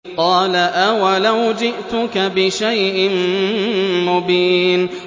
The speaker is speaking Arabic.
قَالَ أَوَلَوْ جِئْتُكَ بِشَيْءٍ مُّبِينٍ